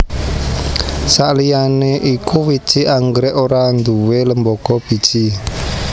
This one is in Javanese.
Sakliyané iku wiji anggrèk ora nduwé lembaga biji